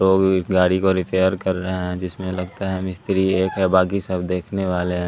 लोग इस गाड़ी को रिपेयर कर रहे हैं जिसमें लगता है मिस्त्री एक है बाकी सब देखने वाले हैं।